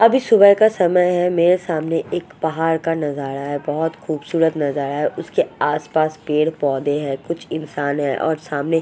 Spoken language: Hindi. अभी सुभाह का समय है मेरे सामने एक पहाड़ का नज़ारा है बोहत खुबसूरत नज़ारा है उसके आस पास पेड़ पोधे है कुछ इंसान है और सामने--